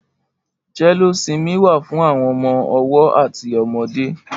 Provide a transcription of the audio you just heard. Jẹléósimí wà fù awọn ọmọ ọwọ àtí ọmọdé